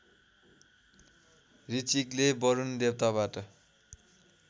ऋचीकले Varuna देवताबाट